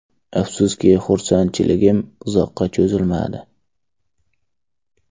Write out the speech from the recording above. Afsuski, xursandchiligim uzoqqa cho‘zilmadi.